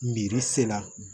Miiri se la